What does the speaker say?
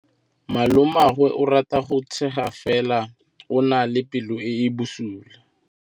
Malomagwe o rata go tshega fela o na le pelo e e bosula.